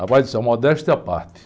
Rapaz, modéstia à parte.